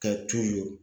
Ka